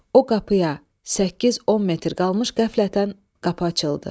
O qapıya 8-10 metr qalmış qəflətən qapı açıldı.